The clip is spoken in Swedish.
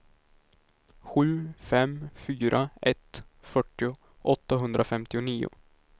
sju fem fyra ett fyrtio åttahundrafemtionio